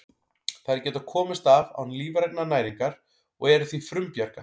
Þær geta komist af án lífrænnar næringar og eru því frumbjarga.